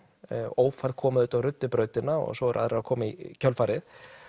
ófærð kom auðvitað og ruddi brautina og svo eru aðrir að koma í kjölfarið